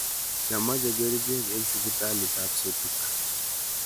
kimache kerichek en sipitaliab sotik